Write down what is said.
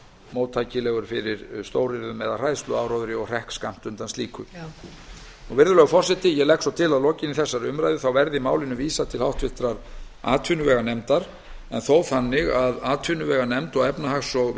móttækilegur fyrir stóryrðum eða hræðsluáróðri og hrekk skammt undan slíku virðulegur forseti ég legg svo til að að lokinni þessari umræðu verði málinu vísað til háttvirtrar atvinnuveganefndar en þó þannig að atvinnuveganefnd og efnahags og